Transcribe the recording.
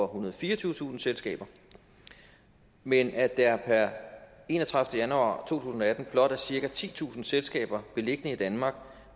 og fireogtyvetusind selskaber men at der per enogtredivete januar to tusind og atten blot er cirka titusind selskaber beliggende i danmark